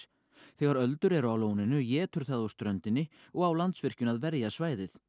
þegar öldur eru á lóninu étur það úr ströndinni og á Landsvirkjun á að verja svæðið